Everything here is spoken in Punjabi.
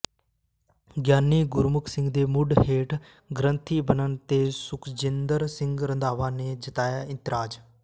ਗਿਆਨੀ ਗੁਰਮੁੱਖ ਸਿੰਘ ਦੇ ਮੁੜ ਹੈੱਡ ਗ੍ਰੰਥੀ ਬਣਨ ਤੇ ਸੁਖਜਿੰਦਰ ਸਿੰਘ ਰੰਧਾਵਾ ਨੇ ਜਤਾਇਆ ਇਤਰਾਜ਼